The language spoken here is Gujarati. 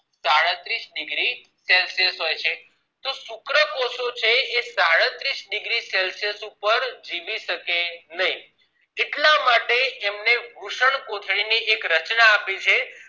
સાડત્રીશ degree celsius તો શુક્રકોષો છે એ સાડત્રીશ degree celsius ઉપર જીવી શકે નહિ એટલા માટે અમને વૃષ્ણકોથળી માં એક રચના આપી છે